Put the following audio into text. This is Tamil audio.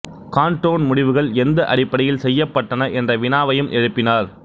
காண்டோன் முடிவுகள் எந்த அடிப்படையில் செய்யப்பட்டன என்ற வினாவையும் எழுப்பினார்